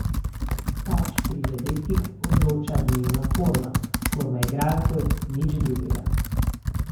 Pač, pri zadetkih odloča dnevna forma, forma igralcev, nič drugega.